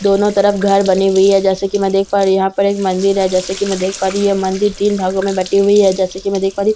दोनों तरफ घर बनी हुई है जैसा की मैं देख पा रही हूँ यहाँ पर एक मंदिर है जैसा की मैं देख पा रही हूँ यह मंदिर तीन भागों में बटी हुई है जैसा की मैं देख पा रही हूँ --